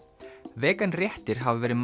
vegan réttir hafa verið